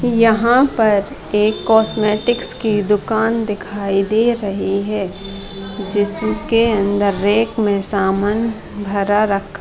यहाँ पर एक कास्मेटिक की दुकान दिखाई दे रही है जिसके अंदर रैक में सामान भरा रखा --